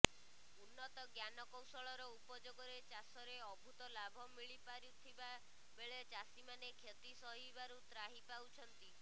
ଉନ୍ନତ ଜ୍ଞାନ କୌଶଳର ଉପଯୋଗରେ ଚାଷରେ ଅଦ୍ଭୁତ ଲାଭ ମିଳିପାରୁଥିବା ବେଳେ ଚାଷୀମାନେ କ୍ଷତି ସହିବାରୁ ତ୍ରାହି ପାଉଛନ୍ତି